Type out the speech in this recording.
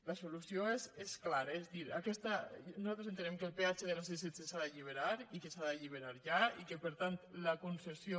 la solució és clara és a dir nos·altres entenem que el peatge de la c·setze s’ha d’allibe·rar i que s’ha d’alliberar ja i que per tant la conces·sió